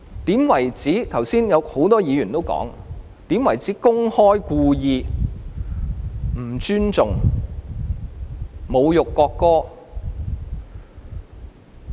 很多議員剛才指出，怎樣才被視為公開或故意不尊重、侮辱國歌？